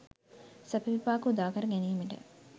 සැප විපාක උදාකර ගැනීමට